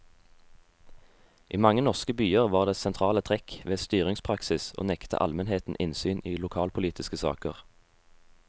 I mange norske byer var det sentrale trekk ved styringspraksis å nekte almenheten innsyn i lokalpolitiske saker.